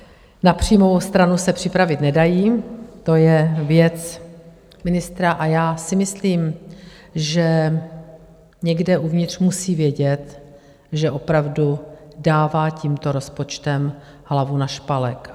Na příjmovou stranu se připravit nedají, to je věc ministra, a já si myslím, že někde uvnitř musí vědět, že opravdu dává tímto rozpočtem hlavu na špalek.